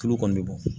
Tulu kɔni bɛ bɔ